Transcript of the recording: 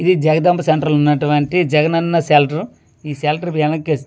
ఇది జగదంభ సెంటర్ ఉన్నటు వంటి జగన్ అన్నషెల్టర్ ఈ షెల్టర్ శివాలయం--